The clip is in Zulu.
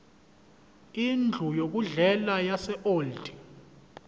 indlu yokudlela yaseold